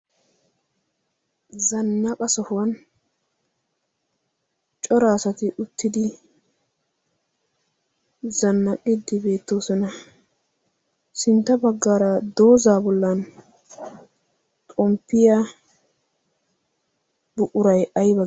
Zannaqa sohuwan cora asati uttidi zannaqide beettoosona. sintta baggar dooza bollan xomppiya buquray aybbe gete....